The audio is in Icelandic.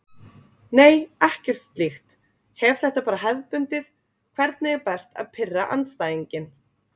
Nei ekkert slíkt, hef þetta bara hefðbundið Hvernig er best að pirra andstæðinginn?